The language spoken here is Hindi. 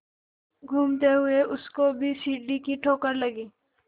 घूमते हुए उसको भी सीढ़ी की ठोकर लगी